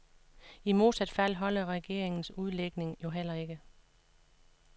I modsat fald holder regeringens udlægning jo heller ikke.